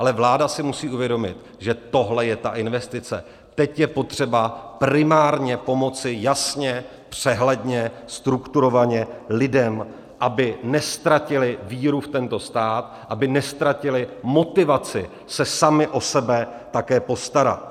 Ale vláda si musí uvědomit, že tohle je ta investice, teď je potřeba primárně pomoci, jasně, přehledně, strukturovaně, lidem, aby neztratili víru v tento stát, aby neztratili motivaci se sami o sebe také postarat.